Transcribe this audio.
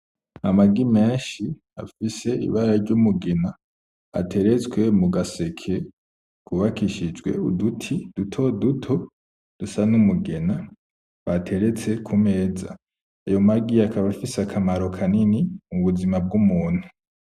Amagi menshi afise ibara ry'umugina ateretswe mugaseke kubakishijwe uduti dutoduto dusa n'umugina bateretse ku meza, ayo magi akaba afise akamaro kanini mu buzima bw'umuntu.